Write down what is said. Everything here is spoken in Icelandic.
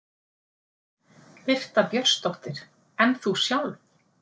Birta Björnsdóttir: En þú sjálf?